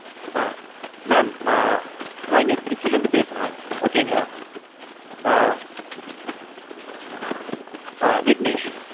ஆ. mam ஆ. நான் இங்க திருச்சில இருந்து பேசுறேன் okay ங்களா ஆ ஆ விக்னேஷ்.